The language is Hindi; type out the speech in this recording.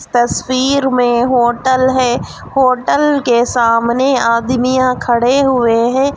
तस्वीर में होटल है होटल के सामने आदमिया खड़े हुए है.